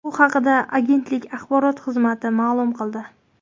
Bu haqda agentlik axborot xizmati ma’lum qildi .